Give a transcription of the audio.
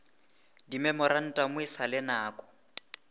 dimemorantamo e sa le nako